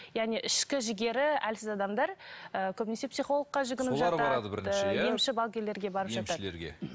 яғни ішкі жігері әлсіз адамдар ы көбінесе психологқа жүгініп жатады емші балгерлерге барып жатады